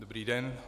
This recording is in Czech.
Dobrý den.